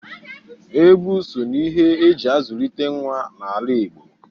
Egwu so n'ihe e ji azụlite nwa n'ala Igo